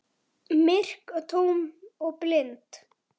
Myrk og tóm og blind.